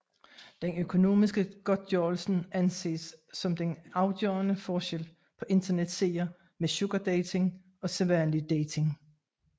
Den økonomiske godtgørelse anses som den afgørende forskel på internetsider med sugardating og sædvanlig dating